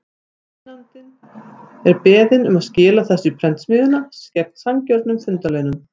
Finnandi er beðinn um að skila þessu í prentsmiðjuna, gegn sanngjörnum fundarlaunum.